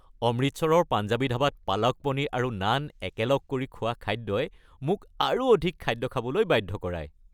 অমৃতসৰৰ পাঞ্জাবী ধাবাত পালক পনীৰ আৰু নান একেলগ কৰি খোৱা খাদ্যই মোক আৰু অধিক খাদ্য খাবলৈ বাধ্য কৰায়।